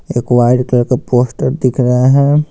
एक white colour का poster दिख रहा है।